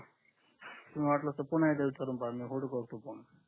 तुम्ही वाटलच तर पुन्हा एकदा विचारून करून पाहा मी होल्ड करतो फोन